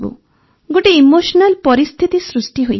ଗୋଟେ ଇମୋସ୍ନାଲ୍ ପରିସ୍ଥିତି ସୃଷ୍ଟି ହୋଇଥିଲା